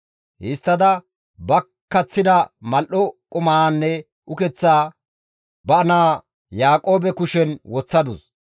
Histtada ba kaththida mal7o qumaanne ukeththaa ba naa Yaaqoobe kushen woththadus.